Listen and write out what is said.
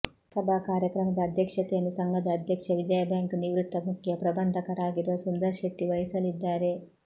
ಸಭಾ ಕಾರ್ಯಕ್ರಮದ ಅಧ್ಯಕ್ಷತೆಯನ್ನು ಸಂಘದ ಅಧ್ಯಕ್ಷ ವಿಜಯಾ ಬ್ಯಾಂಕ್ ನಿವೃತ್ತ ಮುಖ್ಯ ಪ್ರಬಂಧಕರಾಗಿರುವ ಸುಂದರ್ ಶೆಟ್ಟಿ ವಹಿಸಲಿದ್ದಾರೆ